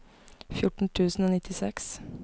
fjorten tusen og nittiseks